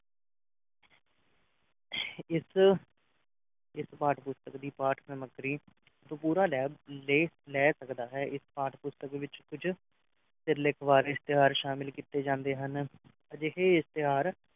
ਇਸ ਇਸ ਪਾਠ-ਪੁਸਤਕ ਦੀ ਪਾਠ ਸਮੱਗਰੀ ਤੂੰ ਪੂਰਾ ਲੈ ਲੇਖ ਲੈ ਸਕਦਾ ਹੈ ਇਸ ਪਾਠ-ਪੁਸਤਕ ਵਿਚ ਕੁਝ ਸਿਰਲੇਖਵਾਰ ਇਸ਼ਤਿਹਾਰ ਸ਼ਾਮਿਲ ਕੀਤੇ ਜਾਂਦੇ ਹਨ ਅਜਿਹੇ ਇਸ਼ਤਿਹਾਰ